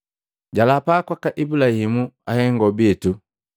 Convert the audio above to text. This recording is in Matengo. Jalapa kwaka Ibulahimu ahengo bitu,